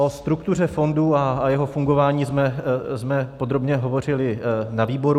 O struktuře fondu a jeho fungování jsme podrobně hovořili na výboru.